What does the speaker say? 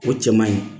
O cɛ man ɲi